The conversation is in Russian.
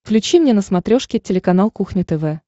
включи мне на смотрешке телеканал кухня тв